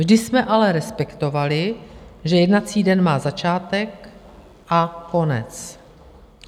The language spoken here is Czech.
Vždy jsme ale respektovali, že jednací den má začátek a konec.